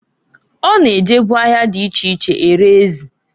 O na-ejebu ahịa di iche iche ere ezi.